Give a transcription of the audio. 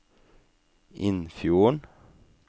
Innfjorden